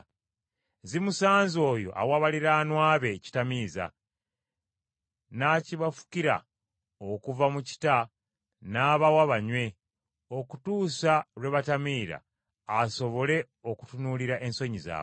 Zimusanze oyo awa baliraanwa be ekitamiiza n’akibafukira okuva mu kita n’abawa banywe okutuusa lwe batamiira asobole okutunuulira ensonyi zaabwe!